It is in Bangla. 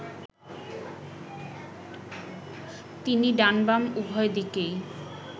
তিনি ডান-বাম উভয় দিকেই